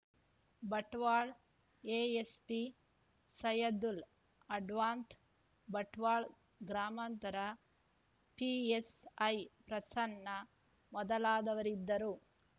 Bantwal ASP Saidul Adavath Bantwal ಗ್ರಾಮಾಂತರ PSI Prasanna ಮೊದಲಾದವರಿದ್ದರು